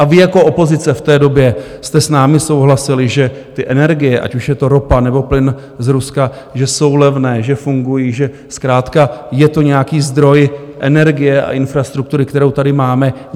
A vy jako opozice v té době jste s námi souhlasili, že ty energie, ať už je to ropa, nebo plyn z Ruska, že jsou levné, že fungují, že zkrátka je to nějaký zdroj energie a infrastruktury, kterou tady máme.